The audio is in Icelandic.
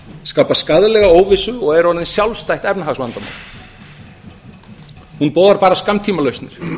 skapa skaðlega óvissu og eru orðin sjálfstætt efnahagsvandamál hún boðar bara skammtímalausnir